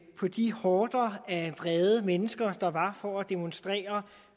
på de horder af vrede mennesker der var for at demonstrere